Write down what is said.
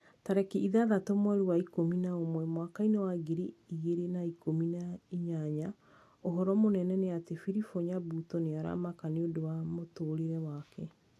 Tarĩki ithathatũ mweri wa ikũmi na ũmwe mwaka wa ngiri igĩrĩ na ikũmi na inyanya ũhoro mũnene nĩ ati philip nyabuto nĩ aramaka nĩũndũ wa mũtũrĩre wake